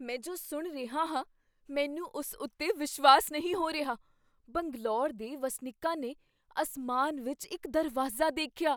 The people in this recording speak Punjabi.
ਮੈਂ ਜੋ ਸੁਣ ਰਿਹਾ ਹਾਂ ਮੈਨੂੰ ਉਸ ਉੱਤੇ ਵਿਸ਼ਵਾਸ ਨਹੀਂ ਹੋ ਰਿਹਾ! ਬੰਗਲੌਰ ਦੇ ਵਸਨੀਕਾਂ ਨੇ ਅਸਮਾਨ ਵਿੱਚ ਇੱਕ ਦਰਵਾਜ਼ਾ ਦੇਖਿਆ!